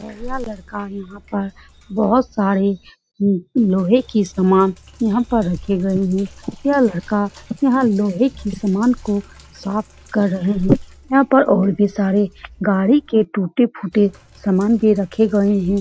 यह लड़का यहाँ पर यहाँ पर बहुत सारे लोहे की सामान यहाँ पर रखी गए हैं यह लड़का वह लोहे की सामान को साफ़ कर रहा है वहाँ पर और भी सारे गाड़ी के टूटे-फूटे सामान भी रखे गए हैं ।